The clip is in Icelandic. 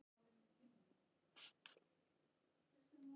Jeppi gjörónýtur eftir veltu í Kömbunum